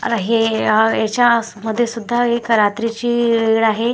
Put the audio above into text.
आणि हे आ याच्या आस मध्ये सुद्धा एक रात्रीची वेळ आहे.